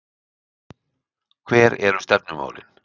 Hver eru stefnumálin?